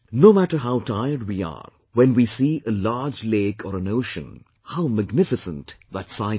No matter how tired we are; when we see a large lake or an ocean, how magnificent that sight is